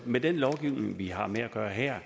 med den lovgivning vi har med at gøre her